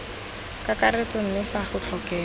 kakaretso mme fa go tlhokega